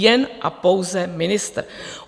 Jen a pouze ministr.